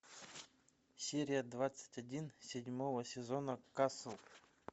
серия двадцать один седьмого сезона касл